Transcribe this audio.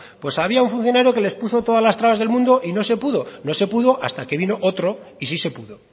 pues había un funcionario que les puso todas las trabas del mundo y no se pudo no se pudo hasta que vino otro y si se pudo